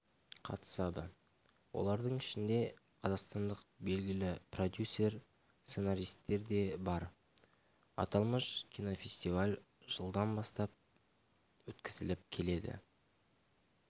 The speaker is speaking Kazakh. қатысады олардың ішінде қазақстандық белгілі продюсер сценаристер де бар аталмыш кинофестиваль жылдан бастап өткізіліп келеді